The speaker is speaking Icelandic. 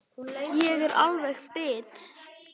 Ég er alveg bit!